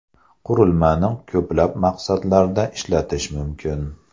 Qurilmani ko‘plab maqsadlarda ishlatish mumkin.